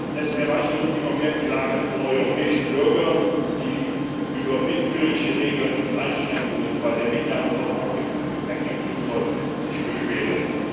Es erreichen uns immer mehr Klagen von europäischen Bürgern, die sich über willkürliche Regeln und Einschränkungen bei der Mitnahme von Handgepäck im Flugzeug beschweren.